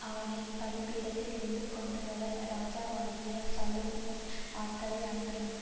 அவனை பலிபீடத்திலிருந்து கொண்டுவர ராஜாவாகிய சாலொமோன் ஆட்களை அனுப்பினான்